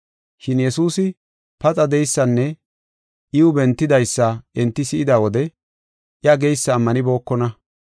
Shin Yesuusi paxa de7eysanne iw bentidaysa enti si7ida wode iya geysa ammanibookona.